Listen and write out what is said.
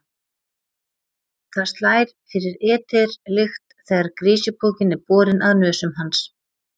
Það slær fyrir eter-lykt þegar grisjupokinn er borinn að nösum hans.